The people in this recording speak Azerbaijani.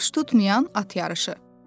Baş tutmayan at yarışı.